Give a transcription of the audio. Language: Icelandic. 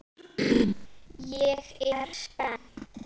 Ég er spennt.